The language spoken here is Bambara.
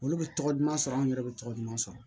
Olu bɛ tɔgɔ duman sɔrɔ anw yɛrɛ bɛ tɔgɔ duman sɔrɔ